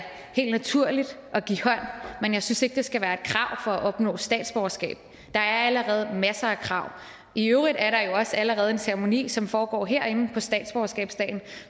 helt naturligt at give hånd men jeg synes ikke at det skal være et krav for at opnå statsborgerskab der er allerede masser af krav i øvrigt er der jo også allerede en ceremoni som foregår herinde på statsborgerskabsdagen